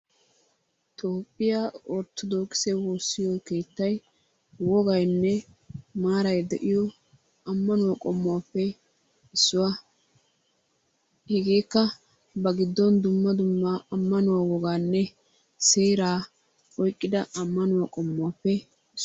Toophiyaa orttodokisee woossiyo keettay wogaynne maray de'iyo ammanuwa qommuwappe issuwaa . Hegekka ba giddon dumma dumma ammanuwa woganne seeraa oyqqida ammanuwaa qommuwaappe ...